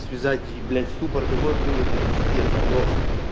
связать и блять ступор такой был это пиздец просто